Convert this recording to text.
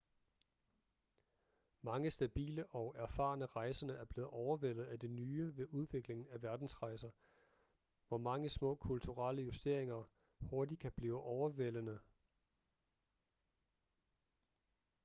mange stabile og erfarne rejsende er blevet overvældet af det nye ved udviklingen af verdensrejser hvor mange små kulturelle justeringer hurtigt kan blive overvældende